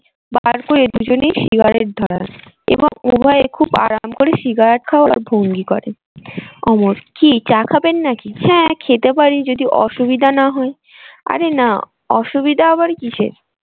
বার করে দুজনেই সিগারেট ধরান। এবং উভয়ে খুব আরাম করে সিগারেট খাওয়ার ভঙ্গি করেন অমর কি চা খাবেন নাকি? হ্যাঁ খেতে পারি যদি অসুবিধা না হয় আরে না অসুবিধা আবার কিসের?